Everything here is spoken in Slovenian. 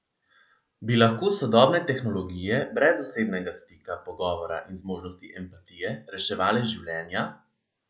Bi lahko sodobne tehnologije, brez osebnega stika, pogovora in zmožnosti empatije, reševale življenja?